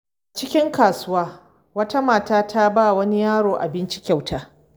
A cikin kasuwa, wata mata ta ba wa wani yaro abinci kyauta.